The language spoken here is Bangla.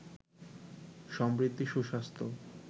সমৃদ্ধি, সুস্বাস্থ্য